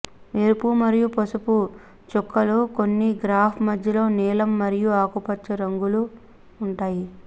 ఎరుపు మరియు పసుపు చుక్కలు కొన్ని గ్రాఫ్ మధ్యలో నీలం మరియు ఆకుపచ్చ రంగులో ఉంటాయి